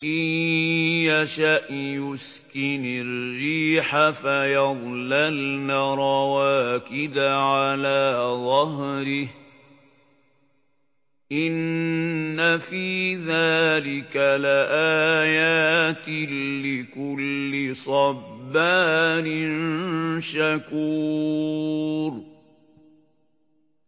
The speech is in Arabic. إِن يَشَأْ يُسْكِنِ الرِّيحَ فَيَظْلَلْنَ رَوَاكِدَ عَلَىٰ ظَهْرِهِ ۚ إِنَّ فِي ذَٰلِكَ لَآيَاتٍ لِّكُلِّ صَبَّارٍ شَكُورٍ